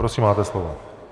Prosím, máte slovo.